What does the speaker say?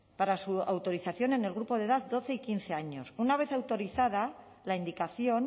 para su autorización en el grupo de edad doce y quince años una vez autorizada la indicación